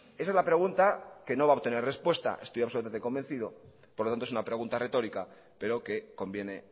esa es la pregunta que no va a obtener respuesta estoy absolutamente convencido por lo tanto es una pregunta retórica pero que conviene